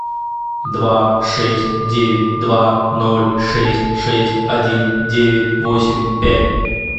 два шесть девять два ноль шесть шесть один девять восемь пять